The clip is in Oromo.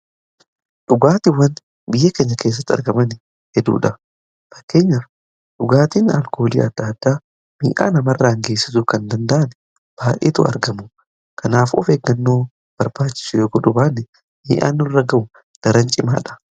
dhugaatiiwwan biyya keenya keessatti argaman hedduudha fakkeenyaf dhugaatiin alkoolii aadda addaa miidhaa nama irraan geessisu kan danda'an baay'etu argamu kanaaf of eeggannoo barbaachisu yoo gochudha baane miidhaan nurra ga'u daran cimaadha